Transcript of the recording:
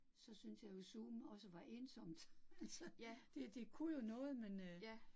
Så syntes jeg jo, Zoom også var ensomt, altså, det det kunne jo noget, men øh